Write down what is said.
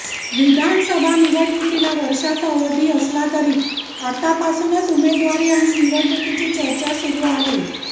विधानसभा निवडणुकीला वर्षाचा अवधी असला तरी आतापासूनच उमेदवारी आणि निवडणुकीची चर्चा सुरू आहे